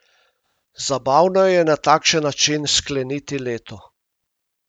Zabavno je na takšen način skleniti leto.